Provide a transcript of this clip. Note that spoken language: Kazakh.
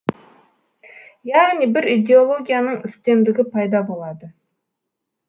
яғни бір идеологияның үстемдігі пайда болады